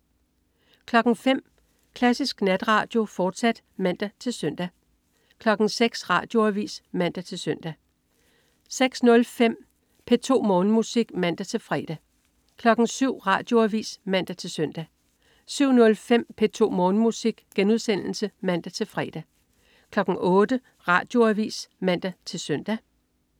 05.00 Klassisk Natradio, fortsat (man-søn) 06.00 Radioavis (man-søn) 06.05 P2 Morgenmusik (man-fre) 07.00 Radioavis (man-søn) 07.05 P2 Morgenmusik* (man-fre) 08.00 Radioavis (man-søn)